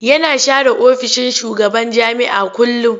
Yana share ofishin shugaban jami'a kullum.